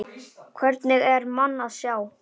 Hvergi er mann að sjá.